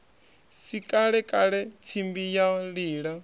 si kalekale tsimbi ya lila